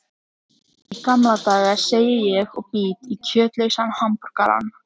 Í gamla daga, segi ég og bít í kjötlausan hamborgarann.